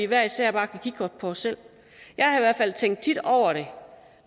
hver især bare kigge på os selv jeg har i hvert fald tit tænkt over det